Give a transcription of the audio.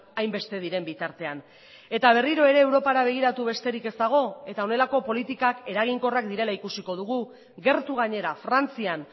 hainbeste diren bitartean eta berriro ere europara begiratu besterik ez dago eta honelako politikak eraginkorrak direla ikusiko dugu gertu gainera frantzian